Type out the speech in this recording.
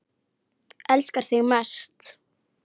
Elska þig mest.